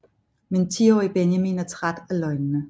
Men 10 årige Benjamin er træt af løgnene